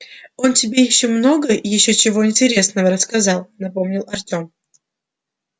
он тебе много ещё чего интересного рассказал напомнил артем